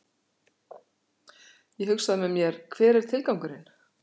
Ég hugsað með mér, hver er tilgangurinn?